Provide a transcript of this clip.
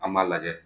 An b'a lajɛ